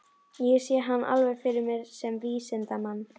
Ég sé hann alveg fyrir mér sem vísindamann.